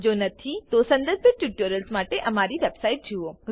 જો નથી તો સંબંધિત ટ્યુટોરિયલ્સ માટે અમારી વેબસાઇટ જુઓ